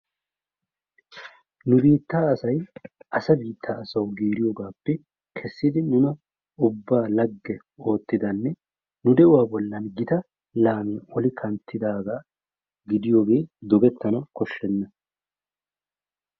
Nu biittaa asay asa biitta asawu giiriyogappe kessidi nuna ubba lagge ottidanne nu de'uwaa bollan gita laamiyaa oli kanttidagaa gidiyoge dogettena koshsheena.